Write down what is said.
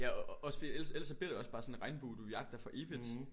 Ja og også fordi ellers ellers så bliver det også bare sådan en regnbue du jagter for evigt